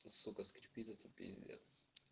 сука скрипит это пиздец